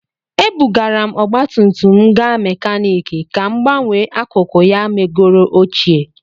Ebugara m ọgba tum tum m gaa mekaniki ka m gbanwee akụkụ ya megoro ochie